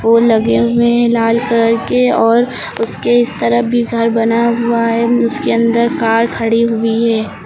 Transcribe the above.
फूल लगे हुए हैं लाल कलर के और उसके इस तरफ भी घर बना हुआ है। उसके अंदर कार खड़ी हुई है।